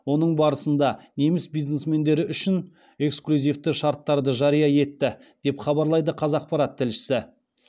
оның барысында неміс бизнесмендері үшін эксклюзивті шарттарды жария етті деп хабарлайды қазақпарат тілшісі